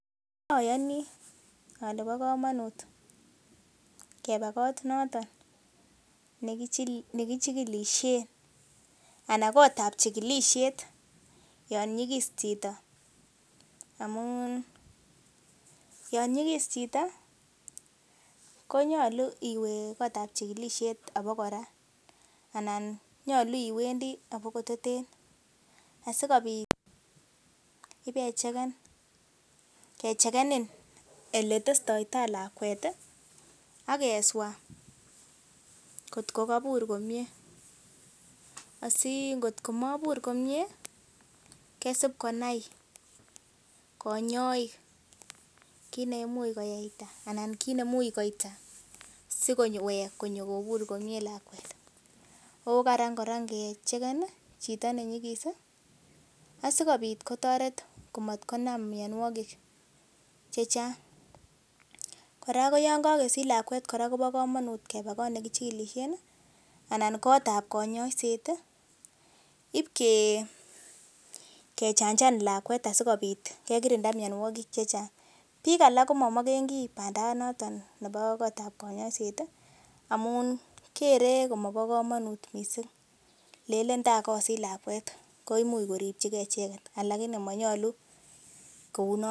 Ayani ole bo kamanut kebaa kot notok nekichilisien yon nyikis chito amun yon nyikis chito konyolku iwe abokora asikobit ibakecheken ole testoito lakwet akeswa kotkokobur komie aikotko mobur komie kosib konai konyoik kiit neimuch koita asikowek kobur komie lakwet ako karan ngecheken chito nenyikis asimanam myonwogik chechang' kora yon kokesich kebendi kotab chikilisiet iib kechanjan lakwet sikekirinda myonwogik chechang, biik alak komomokengi banda bokotab konyoiset amun kere komobo kamanut missing kere kole imuc koripchigei icheket ako monyolu nitok.